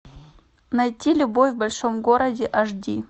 найти любовь в большом городе аш ди